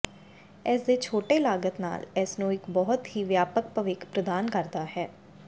ਇਸ ਦੇ ਛੋਟੇ ਲਾਗਤ ਨਾਲ ਇਸ ਨੂੰ ਇੱਕ ਬਹੁਤ ਹੀ ਵਿਆਪਕ ਭਵਿੱਖ ਪ੍ਰਦਾਨ ਕਰਦਾ ਹੈ